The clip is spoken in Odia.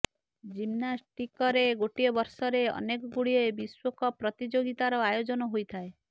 ଜିମ୍ନାଷ୍ଟିକରେ ଗୋଟିଏ ବର୍ଷରେ ଅନେକ ଗୁଡ଼ିଏ ବିଶ୍ୱ କପ୍ ପ୍ରତିଯୋଗିତାର ଆୟୋଜନ ହୋଇଥାଏ